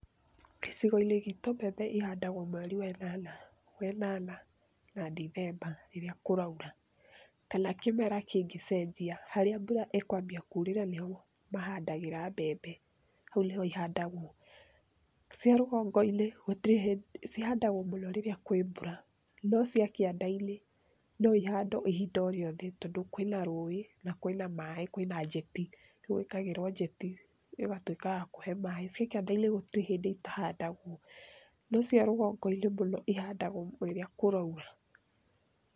Gĩcigoinĩ gitũ mbebe ihandagwo mweri wenana na Dithemba rĩrĩa kũraura kana kĩmera kĩngĩcejia harĩa mbura ĩkwambia kurĩra nĩho mahandagĩra mbebe ,hau nĩho ihandagwocia rũgongoinĩ cihandagwo mũno rĩrĩa kwĩ mbura no cia kĩandainĩ noihandwo ihinda rĩothe tondũ kwĩna rũĩ na kwĩna maĩ kwĩna jeti, kúhũthagĩrwo jeti, nĩgwĩkagĩrwo jeti ĩgatũĩka ya kũhe maĩ. Cikĩandainĩ gũtire hĩndĩ itahandagwo, no ciarũgongo ihandagwo rĩrĩa kũraura.